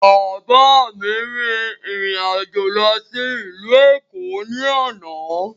Bàbá mi rin ìrìn àjò lọ sí ìlú Èkó ní àná.